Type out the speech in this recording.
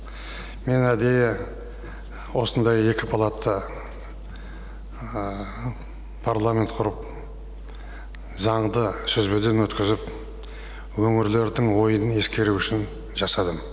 мен әдейі осындай екі палатты парламент құрып заңды сүзбеден өткізіп өңірлердің ойын ескеру үшін жасадым